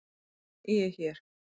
Ég er hér.